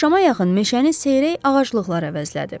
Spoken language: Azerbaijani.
Axşama yaxın meşəni seyrək ağaclıqlar əvəzlədi.